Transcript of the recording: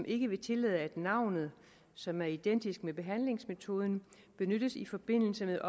ikke vil tillade at navnet som er identisk med behandlingsmetoden benyttes i forbindelse med